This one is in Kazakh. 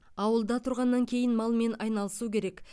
ауылда тұрғаннан кейін малмен айналысу керек